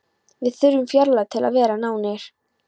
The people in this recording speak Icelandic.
Við þurfum fjarlægð til að vera nánir.